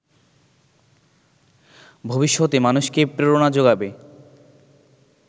ভবিষ্যতে মানুষকে প্রেরণা জোগাবে